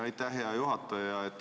Aitäh, hea juhataja!